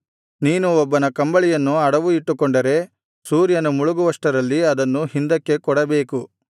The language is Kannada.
ನೀನು ಒಬ್ಬನ ಕಂಬಳಿಯನ್ನು ಅಡವು ಇಟ್ಟುಕೊಂಡರೆ ಸೂರ್ಯನು ಮುಳುಗುವಷ್ಟರಲ್ಲಿ ಅದನ್ನು ಹಿಂದಕ್ಕೆ ಕೊಡಬೇಕು